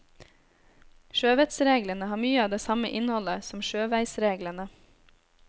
Sjøvettsreglene har mye av det samme innholdet som sjøveisreglene.